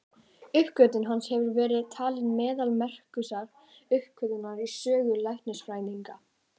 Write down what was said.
Uppgötvun hans hefur verið talin meðal merkustu uppgötvana í sögu læknisfræðinnar.